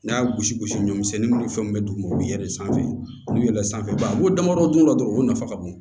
N'a y'a gosi gosi ɲɔsɛnni nunnu ni fɛn mun bɛ d'u ma u bi yɛlɛ sanfɛ n'u yɛlɛn sanfɛ baraw damadɔ dun dɔrɔn o nafa ka bon